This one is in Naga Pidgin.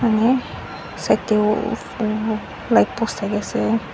side te uuh light post thaki ase.